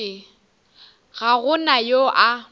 ga go na yo a